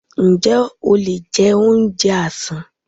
Ǹjẹ́ o lè jẹ oúnjẹ àsán?